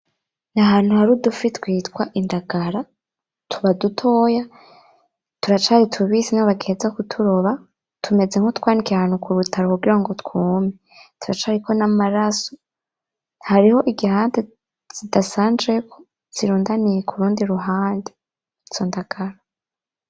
N'ahantu hari udufi twitwa indagara tuba dutoya turacari tubisi niho bagiheza kuturoba tumeze nkutwanikiye ahantu kurutaro kugira twume, turacariko n'amaraso hariho igihande zidasanzejeko, zirundaniye kurundi ruhande izo ndangara.